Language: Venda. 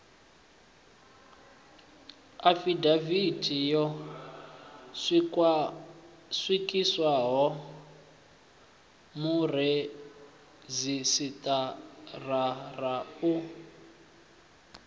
afidavithi yo swikiswaho muredzhisitarara u